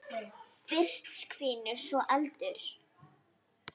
Fyrst hvinur, svo eldur.